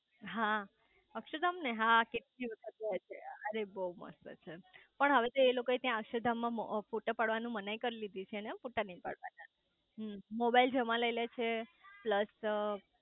હા અક્ષરધામ ને હા કેટલી વખત ગયા છે અરે બહુ મસ્ત છે પણ હવે તોએ લોકો એ ત્યાં અક્ષરધામ માં ફોટા પાડવાની મનાઈ કરી દીધી છે ને ફોટા નઈ પાડવાના હમ્મ મોબાઈલ જમા લઇ લે છે પ્લસ